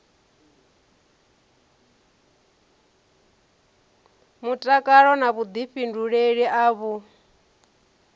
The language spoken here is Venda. mutakalo na vhuḓifhinduleli a vhu